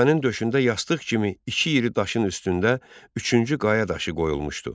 Təpənin döşündə yastıq kimi iki iri daşın üstündə üçüncü qaya daşı qoyulmuşdu.